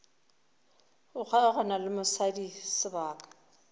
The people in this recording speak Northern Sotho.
go kgaogana le mosadi sebaka